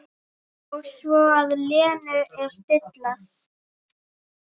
Og sér að Lenu er dillað.